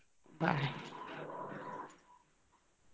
Bye .